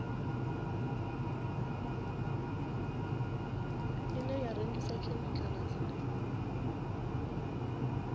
ine ya rengisa khemikhala dzine